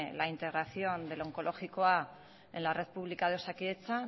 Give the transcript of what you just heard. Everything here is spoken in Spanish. la integración del onkologikoa en la red pública de osakidetza